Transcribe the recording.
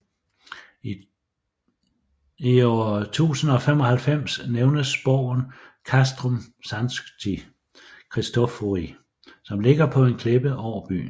I 1095 nævnes borgen Castrum Sancti Christophori som ligger på en klippe over byen